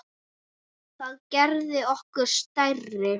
Það gerði okkur stærri.